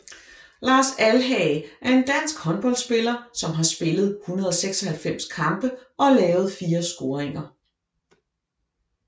Lars Alhage er en dansk håndboldspiller som har spillet 196 kampe og lavet 4 scoringer